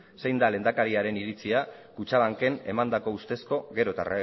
zein da lehendakariaren iritzia kutxabanken emandako ustezko gero eta